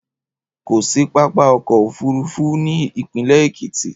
Kò sí pápákọ̀ òfúrufú ní ìpínlẹ̀ Èkìtì.